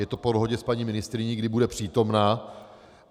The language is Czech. Je to po dohodě s paní ministryní, kdy bude přítomna.